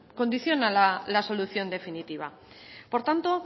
condiciona la solución definitiva por tanto